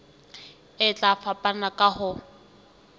e tla fapana ka ho